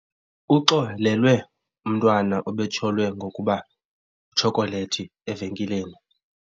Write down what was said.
Uxolelwe umntwana obetyholwa ngokuba itshokolethi evenkileni.